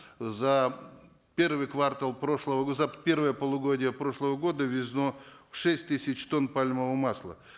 за первый квартал прошлого за первое полугодие прошлого года ввезено шесть тысяч тонн пальмового масла